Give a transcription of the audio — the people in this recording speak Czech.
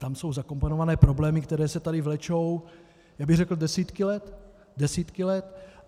Tam jsou zakomponovány problémy, které se tady vlečou, já bych řekl, desítky let.